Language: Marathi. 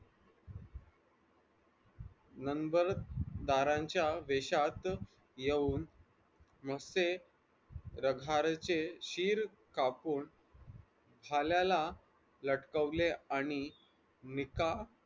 number बारांच्या देशात येऊन नुसते रठारचे शीर कापून भाल्याला लटकावले आणि निकाह